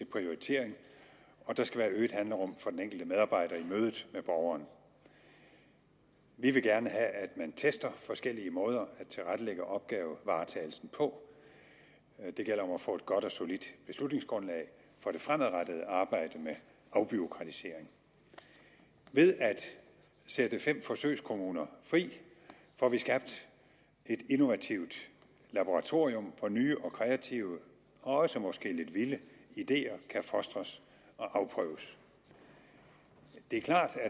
prioritering og der skal være øget handlerum for den enkelte medarbejder i mødet med borgeren vi vil gerne have at man tester forskellige måder at tilrettelægge opgavevaretagelsen på det gælder om at få et godt og solidt beslutningsgrundlag for det fremadrettede arbejde med afbureaukratisering ved at sætte fem forsøgskommuner fri får vi skabt et innovativt laboratorium for at nye og kreative og også måske lidt vilde ideer kan fostres og afprøves det er klart at